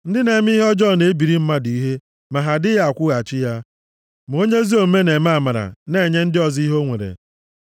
Ndị na-eme ihe ọjọọ na-ebiri mmadụ ihe ma ha adịghị akwụghachi ya, ma onye ezi omume na-eme amara na-enye ndị ọzọ ihe o nwere.